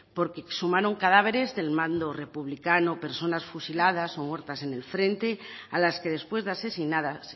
porque exhumaron cadáveres del bando republicano personas fusiladas o muertas en el frente a las que después de asesinadas